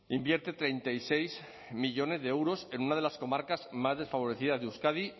invierte treinta y seis millónes de euros en una de las comarcas más desfavorecidas de euskadi